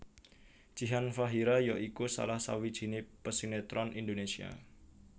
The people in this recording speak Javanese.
Jihan Fahira ya iku salah sawijiné pesinetron Indonésia